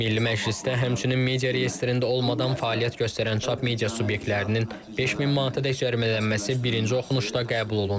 Milli Məclisdə həmçinin media reyestrində olmadan fəaliyyət göstərən çap media subyektlərinin 5000 manataədək cərimələnməsi birinci oxunuşda qəbul olundu.